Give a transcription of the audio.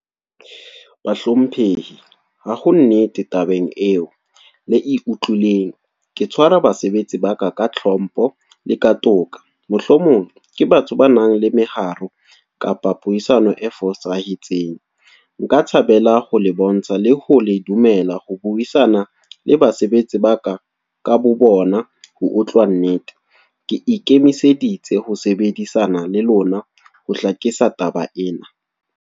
Bahlomphehi, ha ho nnete tabeng eo, le e utlwileng. Ke tshwara basebetsi ba ka, ka tlhompho le ka toka. Mohlomong, ke batho ba nang le meharo. Kapa puisano e fosahetseng. Nka thabela ho le bontsha, le ho le dumela ho buisana le basebetsi ba ka ka bobona. Ho utlwa nnete. Ke ikemiseditse ho sebedisana le lona, ho hlakisa taba ena.